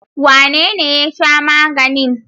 Wanene ya sha maganin?